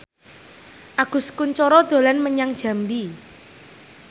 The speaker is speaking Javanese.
Agus Kuncoro dolan menyang Jambi